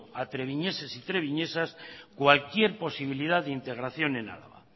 a treviñeses y treviñesas cualquier posibilidad de integración el álava